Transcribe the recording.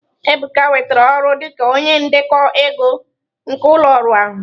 Ebuka nwetara ọrụ dị ka onye ndekọ ego nke ụlọ ọrụ ahụ.